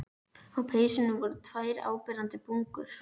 Á peysunni voru tvær áberandi bungur.